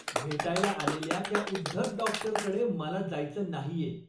भेटायला आलेल्या त्या उद्धट डॉक्टरकडे मला जायचं नाहीये.